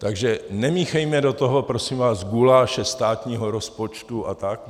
Takže nemíchejme do toho prosím vás guláše státního rozpočtu a tak.